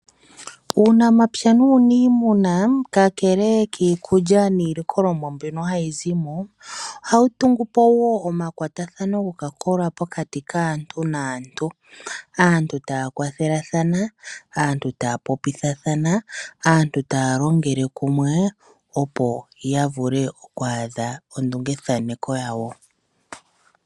Uunamapya nuunimuna ka kele kiikulya niilikolomwa mbyono hayi zimo, ohawu tungupo wo omakwatho gopakola pokati kaantu naantu. Aantu taya kwa thelathana, aantu taya popithathana, aaantu taya longele kumwe opo ya vule ku adha ondunge thaneko yawo.